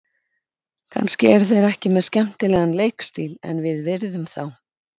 Kannski eru þeir ekki með skemmtilegan leikstíl en við virðum þá.